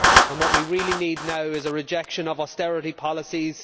What we really need is a rejection of austerity policies.